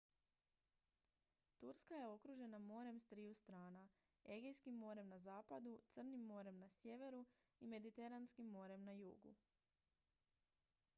turska je okružena morem s triju strana egejskim morem na zapadu crnim morem na sjeveru i mediteranskim morem na jugu